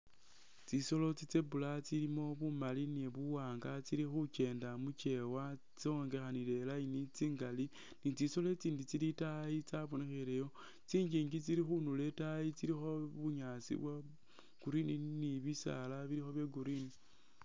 Tsitsolo tsi zebra tsilimo bumali ni buwanga inga tsili khukyenda mukyewa tsonganile line tsingali ni tsitsolo tsindi tsili itaayi tsabonkheleyo tsinjinji tsili khundulo itaayi tsilikho bunasi bwo green ni bisaala bilikho bye green.